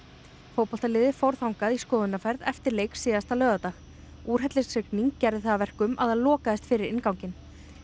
fótboltaliðið fór þangað í skoðunarferð eftir leik síðasta laugardag úrhellisrigning gerði það að verkum að það lokaðist fyrir innganginn